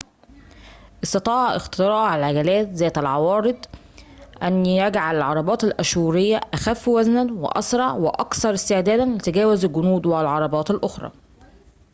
استطاع اختراع العجلات ذات العوارض أن يجعل العربات الآشورية أخفّ وزناً وأسرع وأكثر استعداداً لتجاوُز الجنود والعربات الأخرى